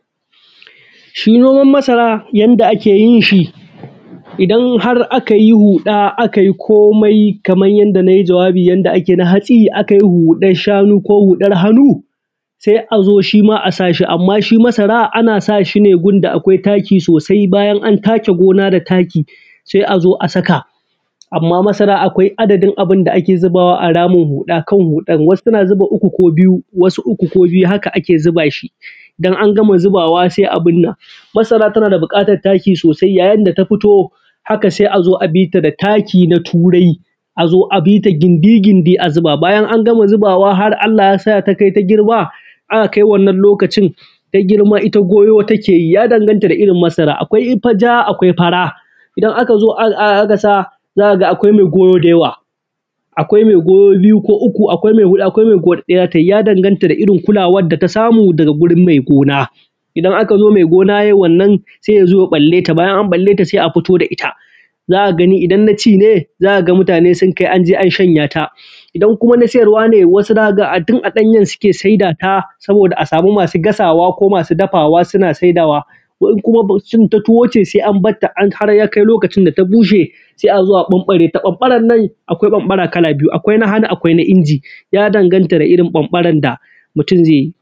Shi Noman Masara Yanda Ake Yin Shi Idan har aka yi huɗa, aka yi komai kaman yadda na yi jawabi, yanda ake yi na hatsi, akan yi huɗar shanu ko huɗar hannu, sai a zo, shi ma a sa shi. Amma shi masara, ana sa shi ne gurin da akwai taki sosai. Bayan an take gona da taki, sai a zo a saka. Amma masara akwai aɗadin abun da ake zubawa a ramin huɗa. Kan huɗan, wasu suna zuba uku ko biyu, wasu uku ko biyu. Haka ake zuba shi. Idan an gama zubawa, sai a bunna. Masara tana da buƙatan taki sosai. Yayin da ta fito, haka sai a zo a bi ta da taki da turai, a zo a bi ta gindi-gindi a zuba. Bayan an gama zubawa, har Allah ya sa ta kai ta girma, aka aki. Wannan lokacin ta girma, ita goyo take yi. Ya danganta da irin masara. Akwai ta ja, akwai fara. Idan aka zo aka sa, za ka ga akwai mai goyo da yawa, akwai mai goyo biyu ko uku, akwai mai goyo, akwai mai huɗu, akwai wanda ɗaya za ta yi. Ya danganta da irin kyawun da ta samu gurin mai gona. Idan aka zo, mai gona yai wannan, sai ya zo ya balle ta. Bayan an balle ta, sai a fito da ita. Za ka gani, idan na ci ne, za ka ga mutane sun kai, an je an shanya ta. Idan kuma na sayarwa ne, wasu za ka ga a tun a ɗanyen suke sayada ta, doni a samu masu gasawa ko masu dafawa. Suna sayada ta, ko kuma cin ta tuwo ce. Sai ambata har ya kai lokacin da ta bushe, sai a zo a ɓanɓare ta. ɓanɓaran masara ɓanɓaran nan akwai ɓanɓara kala biyu: Akwai na hanu. Akwai na inji. Ya danganta da irin ɓanɓaran da mutum zai yi.